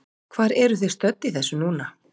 Hvar eru þið stödd í þessu núna?